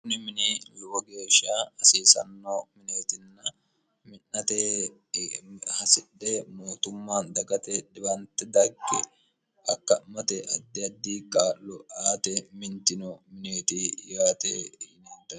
houni mini lowo geeshiya hasiisanno mineetinna mi'nate hasidhe mootumma dagate dhiwante dagge hakka'mate addi addi kaloaate mintino mineeti yaate igineet